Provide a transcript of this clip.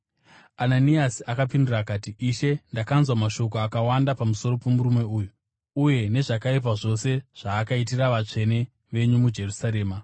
Ananiasi akapindura akati, “Ishe, ndakanzwa mashoko akawanda pamusoro pomurume uyu, uye nezvakaipa zvose zvaakaitira vatsvene venyu muJerusarema.